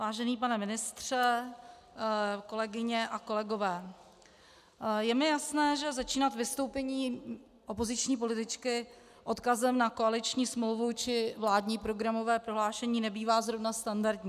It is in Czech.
Vážený pane ministře, kolegyně a kolegové, je mi jasné, že začínat vystoupení opoziční političky odkazem na koaliční smlouvu či vládní programové prohlášení nebývá zrovna standardní.